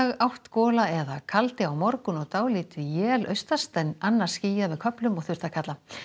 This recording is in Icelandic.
átt gola eða kaldi á morgun og dálítil él austast en annars skýjað með köflum og þurrt að kalla